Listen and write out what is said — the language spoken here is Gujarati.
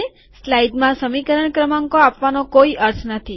સ્લાઈડમાં સમીકરણ ક્રમાંકો આપવાનો કોઈ અર્થ નથી